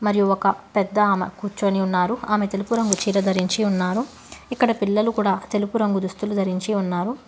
మరియు ఒక పెద్ద ఆమె కూర్చొని వున్నారు ఆమె తెలుపు రంగు చీర ధరించి ఉన్నారు ఇక్కడ పిల్లలు కూడా తెలుపు రంగు దుస్తులు ధరించి ఉన్నారు.